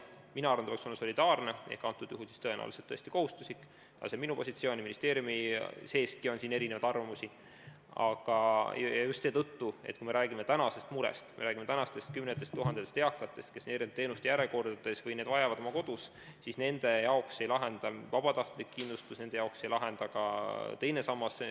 Mina arvan, et see peaks olema solidaarne ehk tõenäoliselt kohustuslik , just seetõttu, et kui me räägime tänasest murest, kui me räägime tänastest kümnetest tuhandetest eakatest, kes on teenuste järjekorras või vajavad neid teenuseid oma kodus, siis nende jaoks ei lahenda probleemi vabatahtlik kindlustus, ei lahenda ka teine sammas.